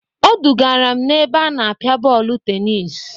Odugara m n'ebe a na-apịa bọọlụ tenis.